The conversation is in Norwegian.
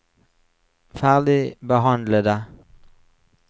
ferdigbehandlede